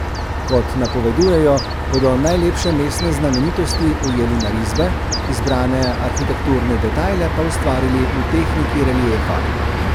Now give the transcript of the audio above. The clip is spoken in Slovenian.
Kot napovedujejo, bodo najlepše mestne znamenitosti ujeli na risbe, izbrane arhitekturne detajle pa ustvarili v tehniki reliefa.